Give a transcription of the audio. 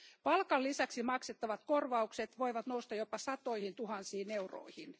Palkan lisäksi maksettavat korvaukset voivat nousta jopa satoihin tuhansiin euroihin.